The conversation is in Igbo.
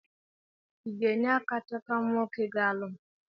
Ị ga-enye aka chọtara m nwoke ga-alụ m?